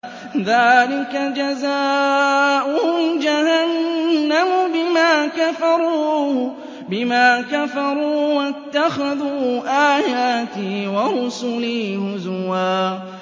ذَٰلِكَ جَزَاؤُهُمْ جَهَنَّمُ بِمَا كَفَرُوا وَاتَّخَذُوا آيَاتِي وَرُسُلِي هُزُوًا